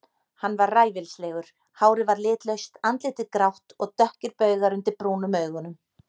Hann var ræfilslegur, hárið var litlaust, andlitið grátt og dökkir baugar undir brúnum augunum.